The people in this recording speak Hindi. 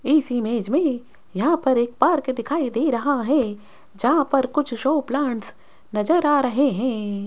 इस इमेज मे यहां पर एक पार्क दिखाई दे रहा है जहां पर कुछ शो प्लांट्स नजर आ रहे हैं।